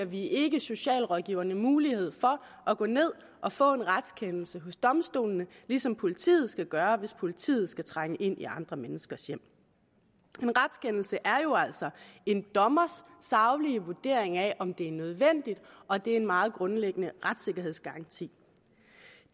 vi ikke giver socialrådgiverne mulighed for at gå ned og få en retskendelse hos domstolene ligesom politiet skal gøre det hvis politiet skal trænge ind i andre menneskers hjem en retskendelse er jo altså en dommers saglige vurdering af om det er nødvendigt og det er en meget grundlæggende retssikkerhedsgaranti